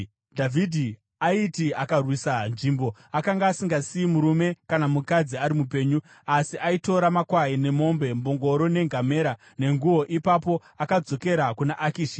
Dhavhidhi aiti akarwisa nzvimbo, akanga asingasiyi murume kana mukadzi ari mupenyu, asi aitora makwai nemombe, mbongoro, nengamera, nenguo. Ipapo akadzokera kuna Akishi.